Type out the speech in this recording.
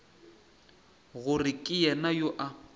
gore ke yena yo a